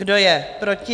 Kdo je proti?